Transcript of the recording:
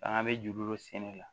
An bɛ juru dɔ sɛnɛ la